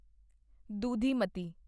ਦੁਧੀਮਤੀ